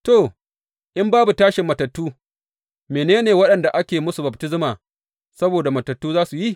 To, in babu tashin matattu, mene ne waɗanda ake musu baftisma saboda matattu za su yi?